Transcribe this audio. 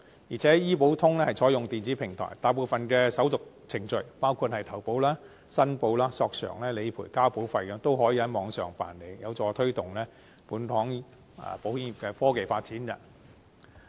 而且醫保通是採用電子平台，大部分的手續程序，包括投保、申報、索償、理賠和交保費均可以在網上辦理，有助推動本港保險業的科技發展。